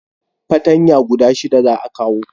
patanya guda shida za a kawo